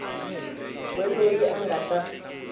we loyi a nga ta